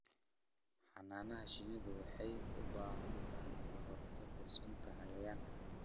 Xannaanada shinnidu waxay u baahan tahay ka-hortagga sunta cayayaanka.